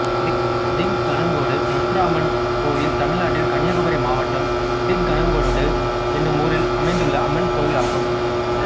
திக்கணங்கோடு முத்தாரம்மன் கோயில் தமிழ்நாட்டில் கன்னியாகுமரி மாவட்டம் திக்கணங்கோடு என்னும் ஊரில் அமைந்துள்ள அம்மன் கோயிலாகும்